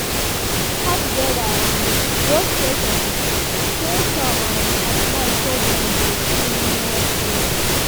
dem waka together um go station um station um at night so dem go feel more safe.